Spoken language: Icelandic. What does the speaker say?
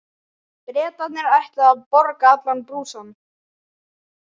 Bretarnir ætluðu að borga allan brúsann.